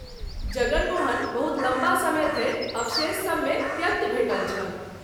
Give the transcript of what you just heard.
जगन मोहन बहुत लम्बा समय धरि अवशेषसभ मे त्यक्त भेटल छल।